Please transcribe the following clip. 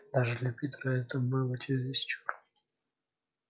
даже для питера это было чересчур